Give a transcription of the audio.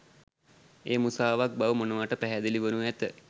එය මුසාවක් බව මොනවට පැහැදිලි වනු ඇත